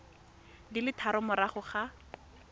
di le tharo morago ga